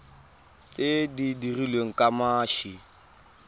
tse di dirilweng ka mashi